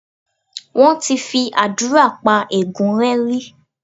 Wọ́n ti fi àdúrà pa ègún rẹ́ rí.